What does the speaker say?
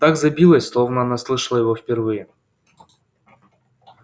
так забилось словно она слышала его впервые